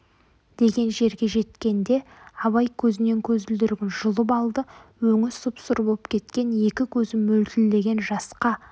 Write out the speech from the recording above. деген жерге жеткенде абай көзінен көзілдірігін жұлып алды өңі сұп-сұр боп кеткен екі көзі мөлтілдеген жасқа